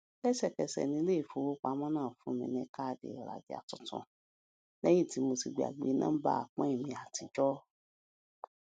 lésèkẹsè ni ilé ìfowópamó náà fún mi ní káàdì ìrajà tuntun léyìn tí mo ti gbàgbé nóńbà pin mi àtijó